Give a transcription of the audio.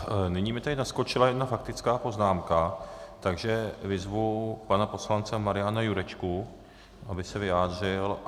Nyní mi tady naskočila jedna faktická poznámka, takže vyzvu pana poslance Mariana Jurečku, aby se vyjádřil.